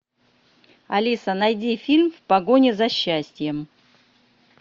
алиса найди фильм в погоне за счастьем